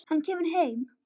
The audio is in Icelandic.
Hann kemur heim.